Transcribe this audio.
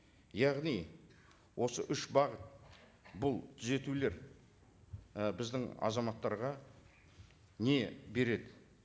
яғни осы үш бағыт бұл түзетулер і біздің азаматтарға не береді